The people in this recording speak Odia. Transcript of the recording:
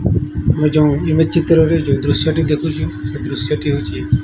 ଆମେ ଯୋଉଁ ଇମେଜ ଚିତ୍ର ରେ ଯୋଉ ଦୃଶ୍ୟ ଟି ଦେଖୁଚୁ ସେଇ ଦୃଶ୍ୟ ଟି ହଉଚି --